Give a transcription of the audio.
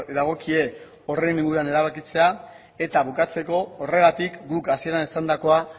dagokie horren inguruan erabakia eta bukatzeko horregatik guk hasieran esandakoa